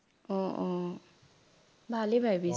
অ অ ভালেই ভাৱিছা